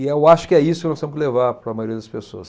E eu acho que é isso que nós temos que levar para a maioria das pessoas.